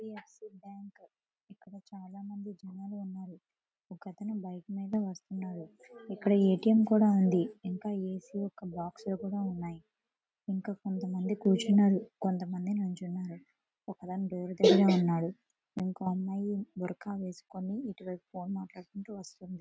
H D F C bank. ఇక్కడ చాలామంది జనాలు కూడా ఉన్నారు. అతను బైక్ మీద వస్తున్నాడు.ఇక్కడ ఏ టీ ఎం కూడా ఉంది. ఇంకా ఏసీ యొక్క బాక్సు లు కూడా ఉన్నాయి. ఇంకా నాకు కొంతమంది కూర్చున్నారు.కొంత మంది నిల్చున్నారు. ఒక అతని డోర్ దగ్గర ఉన్నాడు. ఇంకో అమ్మాయి గురక వేసుకొని ఇటువైపు ఫోన్ మాట్లాడుకుంటూ వస్తుంది.